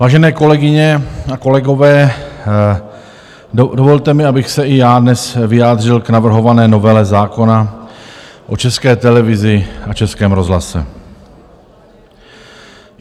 Vážené kolegyně a kolegové, dovolte mi, abych se i já dnes vyjádřil k navrhované novele zákona o České televizi a Českém rozhlase.